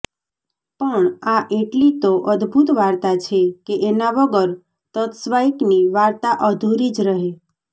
પણ આ એટલી તો અદ્ભુત વાર્તા છે કે એના વગર ત્સ્વાઈક્ની વાત અધૂરી જ રહે